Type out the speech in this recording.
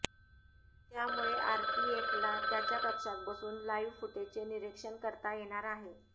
त्यामुळे आरपीएफला त्याच्या कक्षात बसून लाइव्ह फुटेजचे निरीक्षण करता येणार आहे